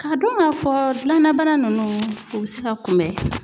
Ka dɔn ka fɔ gilan na bana nunnu, u be se ka kunbɛ.